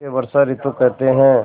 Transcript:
इसे वर्षा ॠतु कहते हैं